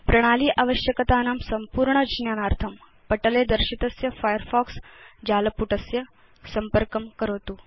प्रणाली आवश्यकतानां संपूर्ण ज्ञानार्थं पटले दर्शितस्य फायरफॉक्स जालपुटस्य संपर्कं करोतु